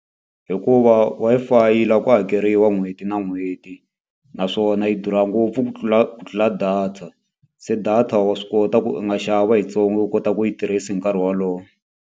Hikuva Wi-Fi yi lava ku hakeriwa n'hweti na n'hweti, naswona yi durha ngopfu ku tlula ku tlula data. Se data wa swi kota ku u nga xava yitsongo u kota ku yi tirhisa hi nkarhi wolowo.